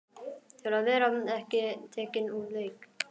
Til að vera ekki tekinn úr leik.